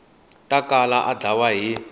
ta kala a dlawa hi